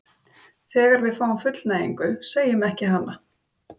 þegar við fáum fullnægingu, segjum ekki hana!